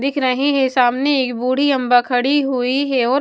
दिख रहे हैं सामने एक बूढ़ी अम्मा खड़ी हुई है और --